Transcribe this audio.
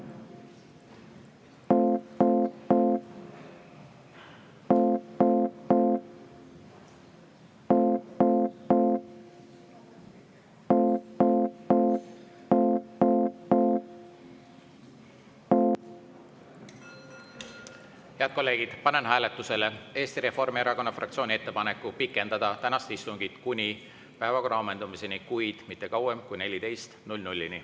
Head kolleegid, panen hääletusele Eesti Reformierakonna fraktsiooni ettepaneku pikendada tänast istungit kuni päevakorra ammendumiseni, kuid mitte kauem kui kella 14‑ni.